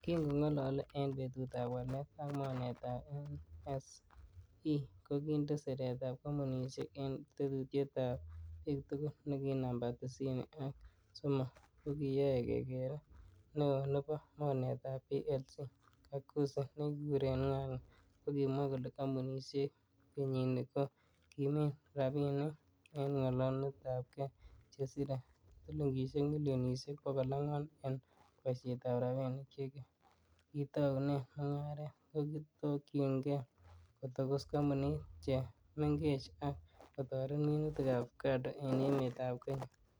Kin ko ngololo en betutab walet ak mornetab NSE, kokinde siret kompunisiek en tuyetab ab bik tugul nekinamba tisini ak somok kokiyoe kekere, Neo nebo mornetab PLC kakuzi nekikuren Ng'ang'a kokimwa kole kompunisiek kenyini ko kimin rabinik en kolongunetabge chesire silingisiek milionisiek bogol angwan en boisietab rabinik che kitounen mungaret, kotokyinge kotokos kompunisiek che mengech ak kotoret minutik ab ovacado en emetab Kenya.